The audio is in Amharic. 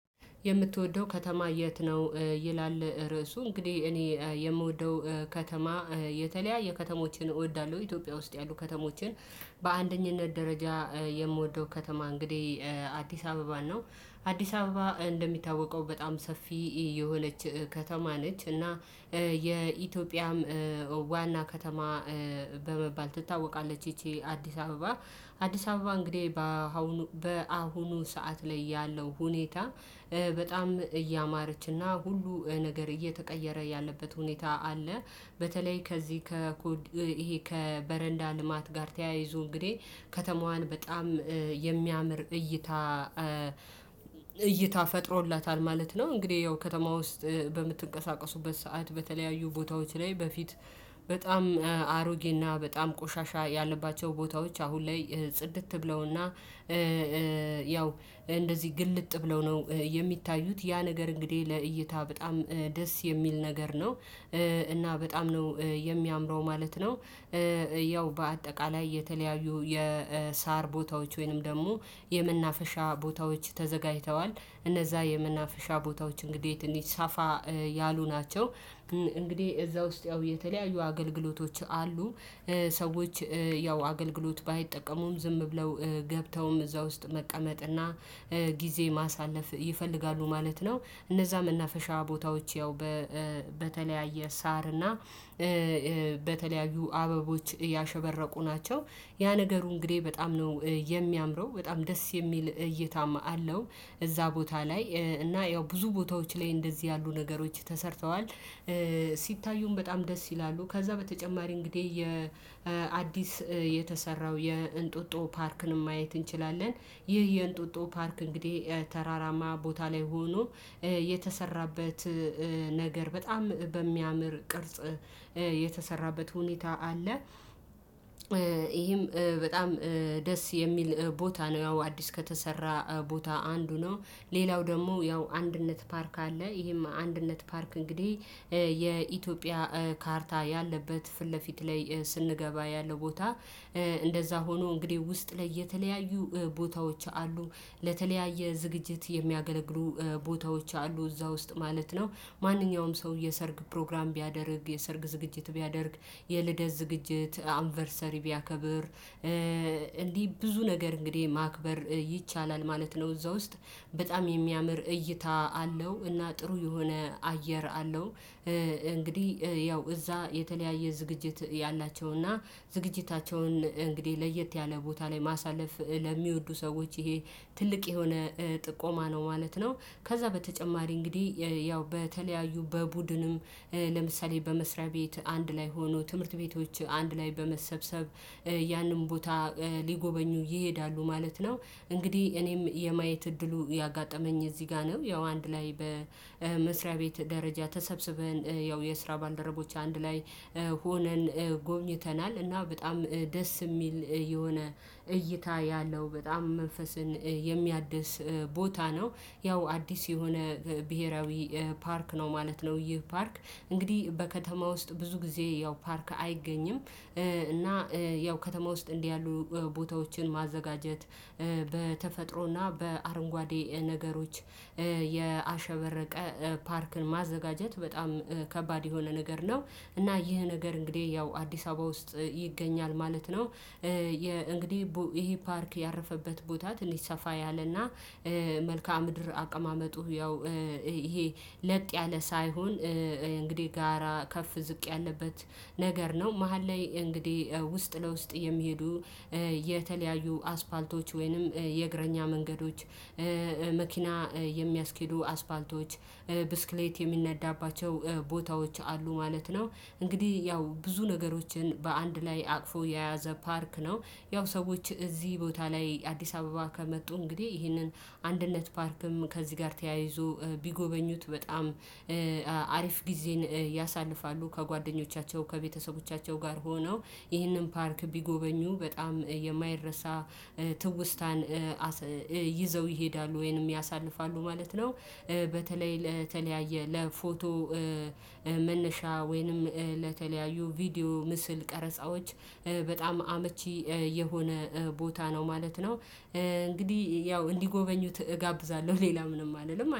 የምትወደው ከተማ የት ነው? ይላል ርዕሱ እንግዲህ እኔ የምወደው ከተማ የተለያየ ከተሞችን እወዳለሁ ኢትዮጵያ ውስጥ ያሉ ከተሞችን በአንደኝነት ደረጃ የምወደው ከተማ እንግዲህ አዲስ አበባ ነው። አዲስ አበባ እንደሚታወቀው በጣም ሰፊ የሆነች ከተማ ነች እና የኢትዮጵያም ዋና ከተማ በመባል ትታወቃለች። ይቺ አዲስ አበባ አዲስ አበባ እንግዲህ በአሁኑ ሰዓት ላይ ያለው ሁኔታ በጣም እያማረችና ሁሉ ነገር እየተቀየረ ያለበት ሁኔታ አለ። በተለይ ከዚህ ከኮድ ይሄ ከበረንዳ ልማት ጋር ተያይዞ እንግዲህ ከተማዋን በጣም የሚያምር እይታ እይታ ፈጥሮላታል ማለት ነው። እንግዲህ ያው ከተማ ውስጥ በምትቀሳቀሱበት ሰዓት በተለያዩ ቦታዎች ላይ በፊት በጣም አሮጌና በጣም ቆሻሻ ያለባቸው ቦታዎች አሁን ላይ ጽድት ብለውና ያው እንደዚህ ግልጥ ብለው ነው የሚታዩት። ያ ነገር እንግዲህ ለእይታ በጣም ደስ የሚል ነገር ነው። እና በጣም ነው የሚያምረው ማለት ነው። ያው በአጠቃላይ የተለያዩ የሳር ቦታዎች ወይንም ደግሞ የመናፈሻ ቦታዎች ተዘጋጅተዋል። እነዛ የመናፈሻ ቦታዎች እንግዲህ ትንሽ ሳፋ ያሉ ናቸው እንግዲህ እዛ ውስጥ ያው የተለያዩ አገልግሎቶች አሉ። ሰዎች ያው አገልግሎት ባይጠቀሙም ዝም ብለው ገብተውም እዛ ውስጥ መቀመጥና ጊዜ ማሳለፍ ይፈልጋሉ ማለት ነው። እነዛ መናፈሻ ቦታዎች ያው በተለያየ ሳር እና በተለያዩ አበቦች ያሸበረቁ ናቸው። ያ ነገሩ እንግዲህ በጣም ነው የሚያምረው በጣም ደስ የሚል እይታማ አለው። እዛ ቦታ ላይ እና ያው ብዙ ቦታዎች ላይ እንደዚህ ያሉ ነገሮች ተሰርተዋል። በጣም ደስ ይላሉ ከዛ በተጨማሪ እንግዲህ የአዲስ የተሰራው የእንጦጦ ፓርክን ማየት እንችላለን። ይህ የእንጦጦ ፓርክ እንግዲህ ተራራማ ቦታ ላይ ሆኖ የተሰራበት ነገር በጣም በሚያምር ቅርጽ የተሰራበት ሁኔታ አለ። ይሄም በጣም ደስ የሚል ቦታ ነው ያው አዲስ ከተሰራ ቦታ አንዱ ነው። ሌላው ደግሞ ያው አንድነት ፓርክ አለ ይሄም አንድነት ፓርክ እንግዲህ ካርታ ያለበት ፊት ለፊት ላይ ስንገባ ያለው ቦታ እንደዛ ሆኖ እንግዲህ ውስጥ ላይ የተለያዩ ቦታዎች አሉ። ለተለያየ ዝግጅት የሚያገለግሉ ቦታዎች አሉ እዛ ውስጥ ማለት ነው። ማንኛውም ሰው የሰርግ ፕሮግራም ቢያደርግ የሰርግ ዝግጅት ቢያደርግ የልደት ዝግጅት አንቨርሰሪ ቢያከብር እንዲህ ብዙ ነገር እንግዲህ ማክበር ይቻላል ማለት ነው። እዛ ውስጥ በጣም የሚያምር እይታ አለው እና ጥሩ የሆነ አየር አለው። እንግዲህ ያው እዛ የተለያየ ዝግጅት ያላቸውና ዝግጅታቸውን እንግዲህ ለየት ያለ ቦታ ላይ ማሳለፍ ለሚወዱ ሰዎች ይሄ ትልቅ የሆነ ጥቆማ ነው ማለት ነው። ከዛ በተጨማሪ እንግዲህ ያው በተለያዩ በቡድንም ለምሳሌ በመስሪያ ቤት አንድ ላይ ሆኖ ትምህርት ቤቶች አንድ ላይ በመሰብሰብ ያንን ቦታ ሊጎበኙ ይሄዳሉ ማለት ነው። እንግዲህ እኔም የማየት እድሉ ያጋጠመኝ እዚህ ጋር ነው ያው አንድ ላይ በመስሪያ ቤት ደረጃ ተሰብስበን ያው የስራ ባልደረቦች አንድ ላይ ሆነን ጎብኝተናል። እና በጣም ደስ የሚል የሆነ እይታ ያለው በጣም መንፈስን የሚያድስ ቦታ ነው። ያው አዲስ የሆነ ብሄራዊ ፓርክ ነው ማለት ነው። ይህ ፓርክ እንግዲህ በከተማ ውስጥ ብዙ ጊዜ ያው ፓርክ አይገኝም እና ያው ከተማ ውስጥ እንዲህ ያሉ ቦታዎችን ማዘጋጀት በተፈጥሮና በአረንጓዴ ነገሮች ያሸበረቀ ፓርክን ማዘጋጀት በጣም ከባድ የሆነ ነገር ነው። እና ይህ ነገር እንግዲህ ያው አዲስ አበባ ውስጥ ይገኛል ማለት ነው። እንግዲህ ይሄ ፓርክ ያረፈበት ቦታ ትንሽ ሰፋ ያለና መልካም ምድር አቀማመጡ ያው ይሄ ለጥ ያለ ሳይሆን እንግዲህ ጋራ ከፍ ዝቅ ያለበት ነገር ነው። መሃል ላይ እንግዲህ ውስጥ ለውስጥ የሚሄዱ የተለያዩ አስፋልቶች ወይንም የእግረኛ መንገዶች መኪና የሚያስኬዱ አስፋልቶች ብስክሌት የሚነዳባቸው ቦታዎች አሉ ማለት ነው። እንግዲህ ያው ብዙ ነገሮችን በአንድ ላይ አቅፎ የያዘ ፓርክ ነው። ያው ሰዎች እዚህ ቦታ ላይ አዲስ አበባ ከመጡ እንግዲህ ይህንን አንድነት ፓርክም ከዚህ ጋር ተያይዞ ቢጎበኙት በጣም አሪፍ ጊዜን ያሳልፋሉ። ከጓደኞቻቸው ከቤተሰቦቻቸው ጋር ሆነው ይህንን ፓርክ ቢጎበኙ በጣም የማይረሳ ትውስታን ይዘው ይሄዳሉ ወይንም ያሳልፋሉ ማለት ነው። በተለይ ለተለያየ ለፎቶ መነሻ ወይንም ለተለያዩ ቪዲዮ ምስል ቀረጻዎች በጣም አመቺ የሆነ ቦታ ነው ማለት ነው። እንግዲህ ያው እንዲጎበኙት እጋብዛለሁ ሌላ ምንም አልልም